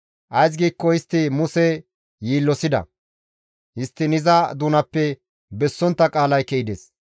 Ays giikko istti Muse yiillosida; histtiin iza doonappe bessontta qaalay ke7ides.